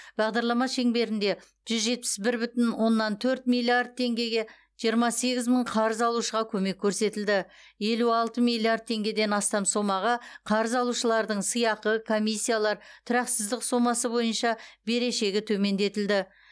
бағдарлама шеңберінде жүз жетпіс бір бүтін оннан төрт миллиард теңгеге жиырма сегіз мың қарыз алушыға көмек көрсетілді елу алты миллиард теңгеден астам сомаға қарыз алушылардың сыйақы комиссиялар тұрақсыздық сомасы бойынша берешегі төмендетілді